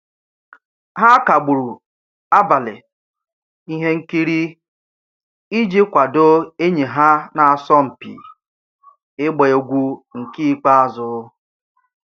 Ha kagburu abalị ihe nkiri iji kwadoo enyi ha na-asọ mpi igba egwu nke ikpeazụ